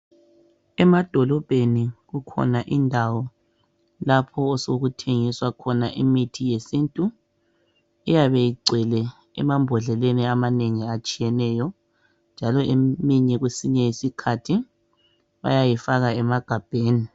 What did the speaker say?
Emadolobheni ikhona indawo lapho osokuthengiswa imithi yesintu eyabe igcwele emambhodleleni amanengi atshiyeneyo njalo kwesinye isikhathi bayayifaka emagabheni.